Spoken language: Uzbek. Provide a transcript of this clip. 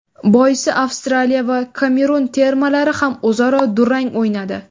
Boisi Avstraliya va Kamerun termalari ham o‘zaro durang o‘ynadi.